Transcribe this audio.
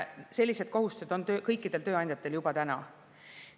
Sellised kohustused on kõikidel tööandjatel juba praegu.